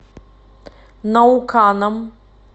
науканом